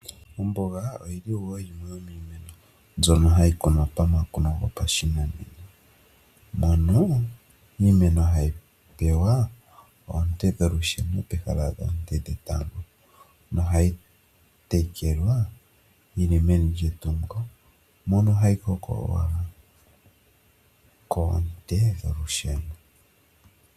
Omboga oyili woo hayi kunwa mumwe niimeno mbyoka hayi kunwa momakuno gopashinanena mono iimeno hayi pewa oonte dholusheno peha dhoonte dhetango, nohayi tekelwa yili meni lyetungo mono hayi hokolwa koonte dholusheno.